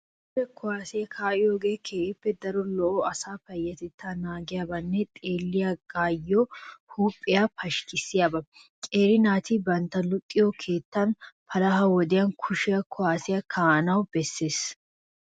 Kushe kuwaasiya kaa'iyoogee keehippe daro lo'o asaa payyatettaa naaggiyaabanne xeelliyaagaa huuphphiyaa pashkkissiyaaba. Qeeri naati bantta luxetta keettan palaha wodiyan kushe kuwaasiya kaa'anawu bessees.